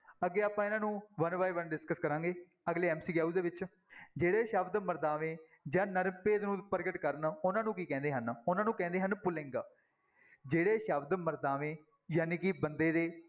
ਅੱਗੇ ਆਪਾਂ ਇਹਨਾਂ ਨੂੰ one by one discuss ਕਰਾਂਗੇ ਅਗਲੇ MCQ ਦੇ ਵਿੱਚ, ਜਿਹੜੇ ਸ਼ਬਦ ਮਰਦਾਵੇਂ ਜਾਂ ਨਰ ਭੇਦ ਨੂੰ ਪ੍ਰਗਟ ਕਰਨ, ਉਹਨਾਂ ਨੂੰ ਕੀ ਕਹਿੰਦੇ ਹਨ, ਉਹਨਾਂ ਨੂੰ ਕਹਿੰਦੇ ਹਨ ਪੁਲਿੰਗ, ਜਿਹੜੇ ਸ਼ਬਦ ਮਰਦਾਵੇਂ ਜਾਣੀ ਕਿ ਬੰਦੇ ਦੇ